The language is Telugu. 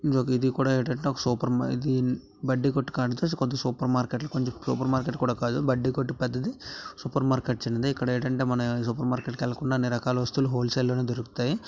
ఇది కూడా ఏటంటే ఒక సూపర్ మా ఇది బడ్డీ కొట్టు కాదు సూపర్ మార్కెట్ . సూపర్ మార్కెట్ కూడ కాదు బడ్డీ కొట్టు పెద్దది సూపర్ మార్కెట్ చిన్నది. ఇక్కడేటంటే సూపర్ మార్కెట్ కెళ్ళకుండా అన్ని రకాల వస్తువులు హోల్ సేల్ లోనే దొరుకుతాయి. .